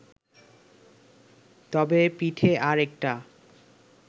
তবে পিঠে আর-একটা